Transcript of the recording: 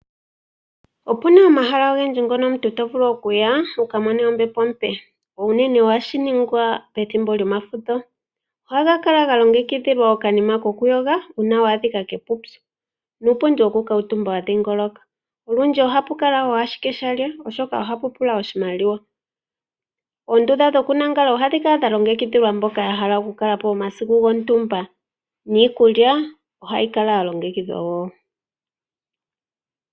Opuna omahala ogendji ngono omuntu tovulu okuya ukamone ombepo ompe unene ohashi ningwa pethimbo lyomafudho ohaga kala ga longekidhilwa okanima ko ku yoga uuna wa adhika kuupyu nuupundi woku kuutumba wa dhingoloka nolundji ohapu kala owala aakengeli oshoka ohapu pula oshimaliwa. Oondunda dhokulala ohadhi kala dha longekidhilwa mboka yahala okukalapo omasiku gontumba niikulya ohayi kala ya longekidhwa woo.